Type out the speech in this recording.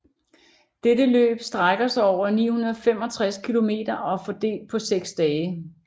Dette løb strækker sig over 965 km og fordelt på seks dage